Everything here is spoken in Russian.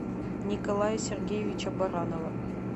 николая сергеевича баранова